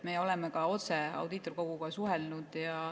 Me oleme ka otse Audiitorkoguga suhelnud.